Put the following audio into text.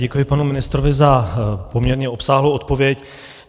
Děkuji panu ministrovi za poměrně obsáhlou odpověď.